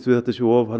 að þetta sé of